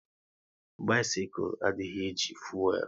Bisikul adịghị e ji fuelu